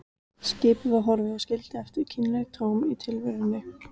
Skipið var horfið og skildi eftir kynlegt tóm í tilverunni.